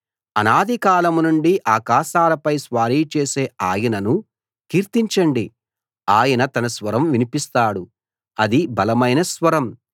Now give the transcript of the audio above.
అనాది కాలం నుండి ఆకాశాలపై స్వారీ చేసే ఆయనను కీర్తించండి ఆయన తన స్వరం వినిపిస్తాడు అది బలమైన స్వరం